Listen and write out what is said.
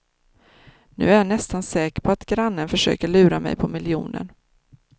Nu är jag nästan säker på att grannen försöker lura mig på miljonen.